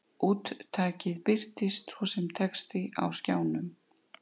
Úttakið birtist svo sem texti á skjánum.